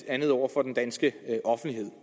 andet over for den danske offentlighed